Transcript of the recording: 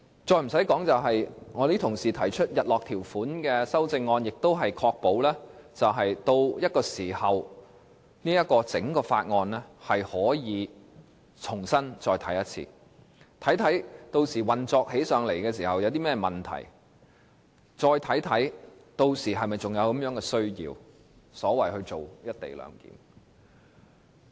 另外，部分同事提出日落條款的修正案，亦旨在確保到了某個時候，大家可以再次重新審視整項《條例草案》，看看屆時實際運作有何問題，並檢討是否還有需要推行"一地兩檢"。